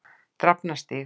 Drafnarstíg